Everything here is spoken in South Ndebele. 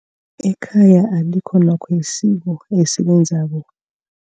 Ekhaya alikho nokho isiko esilenzako.